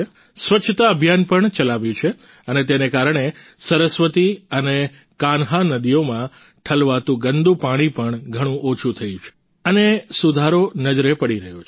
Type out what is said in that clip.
સ્વચ્છતા અભિયાન પણ ચલાવ્યું છે અને તેને કારણે સરસ્વતી અને કાન્હ નદીઓમાં ઠલવાતું ગંદુ પાણી પણ ઘણું ઓછું થયું છે અને સુધારો નજરે પડી રહ્યો છે